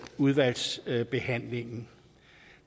udvalgsbehandlingen